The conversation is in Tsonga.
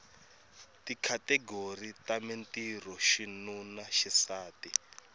tikhategori ta mintirho xinuna xisati